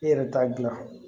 I yɛrɛ t'a dilan